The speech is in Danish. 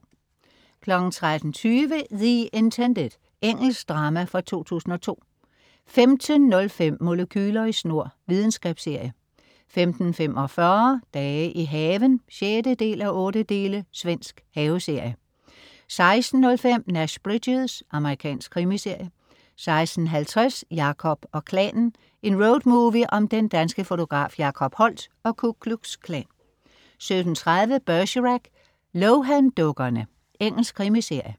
13.20 The Intended. Engelsk drama fra 2002 15.05 Molekyler i snor. Videnskabsserie 15.45 Dage i haven 6:8. Svensk haveserie 16.05 Nash Bridges. Amerikansk krimiserie 16.50 Jacob og Klanen. En roadmovie om den danske fotograf Jacob Holdt og Ku Klux Klan 17.30 Bergerac: Lohan-dukkerne. Engelsk krimiserie